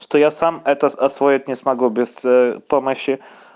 что я сам это освоить не смогу без помощи